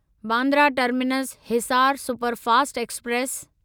Bandra terminus Hisar superfast express